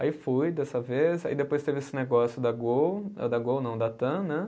Aí fui dessa vez, aí depois teve esse negócio da Gol, eh da Gol não, da Tam, né?